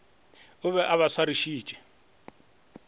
o be a ba swarišitše